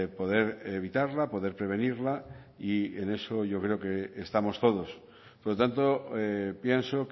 poder evitarla poder prevenirla y en eso yo creo que estamos todos por lo tanto pienso